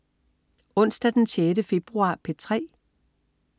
Onsdag den 6. februar - P3: